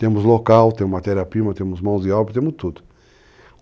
Temos local, temos matéria-prima, temos mãos de obra, temos tudo.